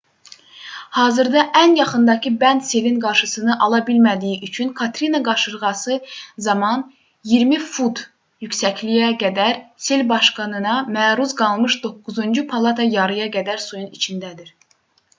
hazırda ən yaxındakı bənd selin qarşısını ala bilmədiyi üçün katrina qasırğası zamanı 20 fut yüksəkliyə qədər sel basqınına məruz qalmış doqquzuncu palata yarıya qədər suyun içindədir